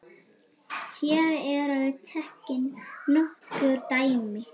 Hér eru tekin nokkur dæmi